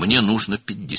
Mənə 50 lazımdır.